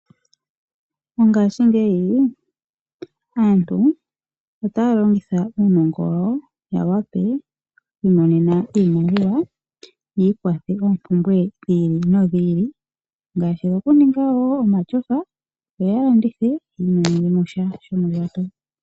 Mongashingeyi aantu otaya longitha uunongo wawo ya wape oku imonena iimaliwa, ya ikwathe oompumbwe dhi ili nodhi ili. Ngaashi wokuninga wo omashofa yo ya landithe ya imonene mo sha shomondjato.